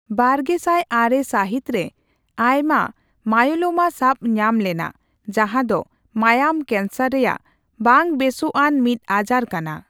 ᱵᱟᱨᱜᱮᱥᱟᱭ ᱟᱨᱮ ᱥᱟᱦᱤᱛ ᱨᱮ ᱟᱭᱢᱟ ᱢᱟᱭᱳᱞᱳᱢᱟ ᱥᱟᱵᱧᱟᱢ ᱞᱮᱱᱟ, ᱡᱟᱦᱟᱸ ᱫᱚ ᱢᱟᱭᱟᱢ ᱠᱮᱱᱥᱟᱨ ᱨᱮᱭᱟᱜ ᱵᱟᱝ ᱵᱮᱥᱚᱜᱟᱱ ᱢᱤᱫ ᱟᱡᱟᱨ ᱠᱟᱱᱟ ᱾